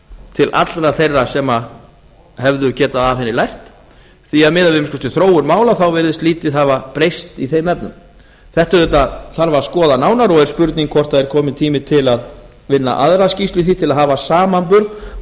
til allra þeirra sem hefðu getað af henni lært því að miðað við að minnsta kosti þróun mála þá virðist lítið hafa breyst í þeim efnum þetta þarf auðvitað að skoða nánar og er spurning hvort það er kominn tími til að vinna aðra skýrslu í því til að hafa samanburð og